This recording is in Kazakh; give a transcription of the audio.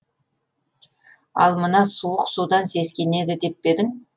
ал мына суық судан сескенеді деп пе едің